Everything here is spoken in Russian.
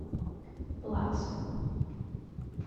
плакса